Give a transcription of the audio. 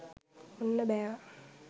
ඔන්න බෑවා